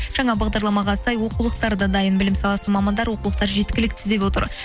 жаңа бағдарламаға сай оқулықтар да дайын білім саласының мамандары оқулықтар жеткілікті деп отыр